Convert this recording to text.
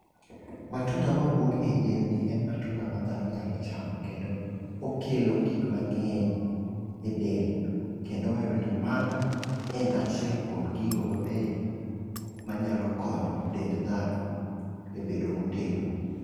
Matunda mawuok e yien ni en matunda ma dhano nyalo chamo kendo okelo gik mang'eny e del kendo wayudo ni mano en achiel kuom gigo mabeyo manyalo konyo dend dhano e bedo motegno.